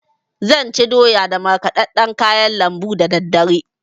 Zan ci doya da markɗaɗɗan kayan lambu dadaddare.